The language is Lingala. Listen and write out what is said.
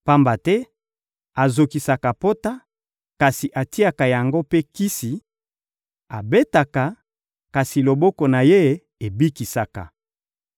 Pamba te azokisaka pota, kasi atiaka yango mpe kisi; abetaka, kasi loboko na Ye ebikisaka.